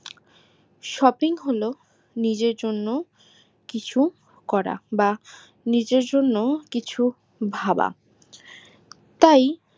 shopping হলো নিজের জন্য কিছু করা বা নিজের জন্য কিছু ভাবা তাই